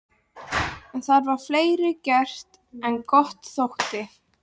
En það var fleira gert en gott þótti.